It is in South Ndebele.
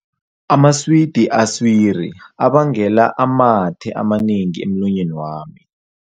Amaswidi aswiri abangela amathe amanengi emlonyeni wami.